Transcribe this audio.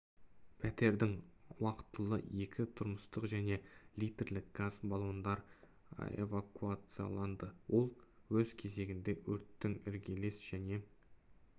пәтерден уақытылы екі тұрмыстық және литрлік газ баллондар эвакуацияланды ол өз кезегінде өрттің іргелес және